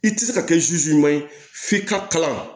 I tɛ se ka kɛ ye f'i ka kalan